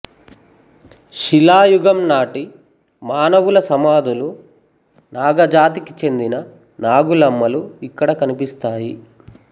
శిలాయుగం నాటి మానవుల సమాధులు నాగజాతికి చెందిన నాగులమ్మలు ఇక్కడ కనిపిస్తాయి